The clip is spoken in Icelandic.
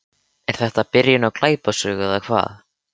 Tekið utan um hann og leitt hann í rúmið.